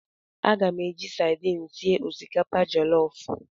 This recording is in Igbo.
Aga m eji sadin sie osikapa jọlọf.